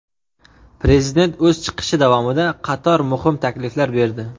Prezident o‘z chiqishi davomida qator muhim takliflar berdi.